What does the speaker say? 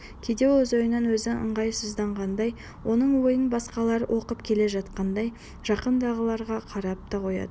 кейде ол өз ойынан өзі ыңғайсызданғандай оның ойын басқалар оқып келе жатқандай жанындағыларға қарап та қояды